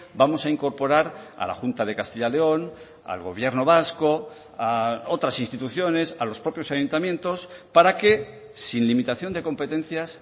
vamos a incorporar a la junta de castilla león al gobierno vasco a otras instituciones a los propios ayuntamientos para que sin limitación de competencias